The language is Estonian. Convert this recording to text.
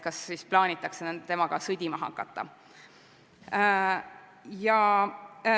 Kas siis plaanitakse temaga sõdima hakata?